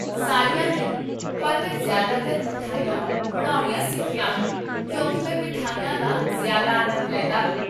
ਸਾਰੀਆਂ ਨਹੀਂ, ਪਰ ਮੈਂ ਜ਼ਿਆਦਾਤਰ ਮਿਠਾਈਆਂ ਬਣਾਉਣੀਆਂ ਸਿੱਖੀਆਂ ਹਨ, ਕਿਉਂਕਿ ਮੈਂ ਮਿਠਾਈਆਂ ਦਾ ਜ਼ਿਆਦਾ ਆਨੰਦ ਲੈਂਦਾ ਹਾਂ